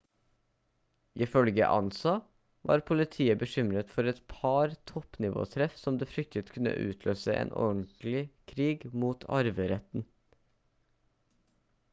ifølge ansa «var politiet bekymret for et par toppnivåtreff som de fryktet kunne utløse en ordentlig krig om arveretten